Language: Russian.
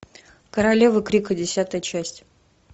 королева крика десятая часть